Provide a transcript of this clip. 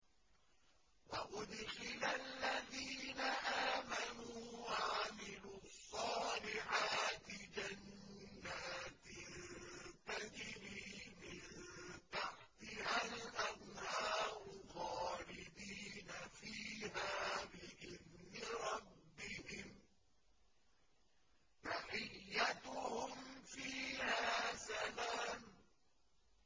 وَأُدْخِلَ الَّذِينَ آمَنُوا وَعَمِلُوا الصَّالِحَاتِ جَنَّاتٍ تَجْرِي مِن تَحْتِهَا الْأَنْهَارُ خَالِدِينَ فِيهَا بِإِذْنِ رَبِّهِمْ ۖ تَحِيَّتُهُمْ فِيهَا سَلَامٌ